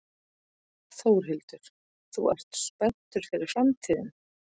Þórhildur: Svo þú ert spenntur fyrir framtíðinni?